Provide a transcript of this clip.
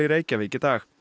dag